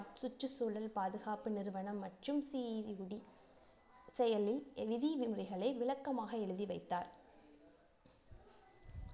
சுற்றுச்சூழல் பாதுகாப்பு நிறுவனம் மற்றும் செயலி விதி விதிமுறைகளை விளக்கமாக எழுதி வைத்தார்